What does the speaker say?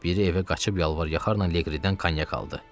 Biri evə qaçıb yalvar-yaxarla Leqridən konyak aldı.